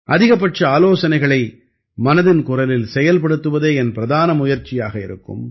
அதிகபட்ச ஆலோசனைகளை மனதின் குரலில் செயல்படுத்துவதே என் பிரதான முயற்சியாக இருக்கும்